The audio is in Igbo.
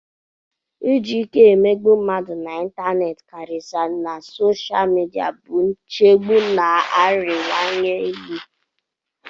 Iji ike emegbu mmadụ na ịntanetị, karịsịa na sosha midia, bụ nchegbu na-arịwanye elu.